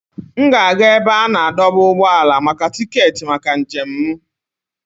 M ga-aga ebe a na-adọba ụgbọala maka tiketi maka njem m.